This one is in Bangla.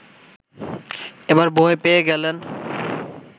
এবার ভয় পেয়ে গেলেন